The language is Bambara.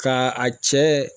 Ka a cɛ